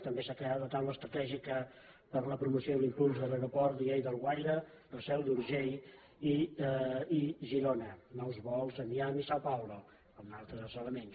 també s’ha creat la taula estratègica per a la promoció i l’impuls de l’aeroport de lleida alguaire la seu d’urgell i girona nous vols a miami i sao paulo un altre dels elements